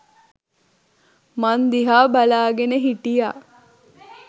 මං දිහා බලාගෙන හිටියා.